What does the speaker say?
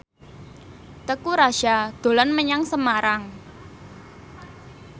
Teuku Rassya dolan menyang Semarang